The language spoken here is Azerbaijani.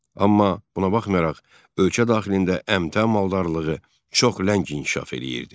Amma buna baxmayaraq, ölkə daxilində əmtəə maldarlığı çox ləng inkişaf eləyirdi.